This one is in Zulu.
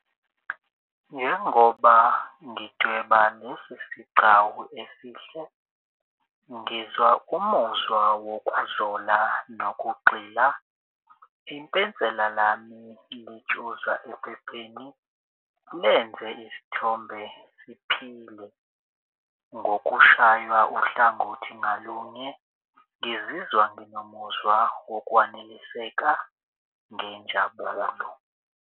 Njengoba ngidweba lesi sigcawu esihle ngizwa umuzwa wokwazola nokugxila ipensela lami litshuza ephepheni lenze isithombe siphile. Ngokushaywa uhlangothi ngalunye ngizizwa nginomuzwa wokwaneliseka ngenjabulo.